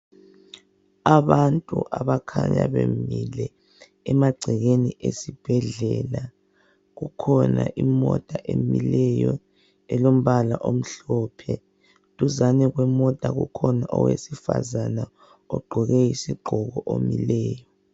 Abantu abakhanya bemile emagcekeni esibhedlela. Kukhona imota emileyo elombala omhlophe. Duzane kwemota kukhona owesifazana ogqoke isigqoko omileyo.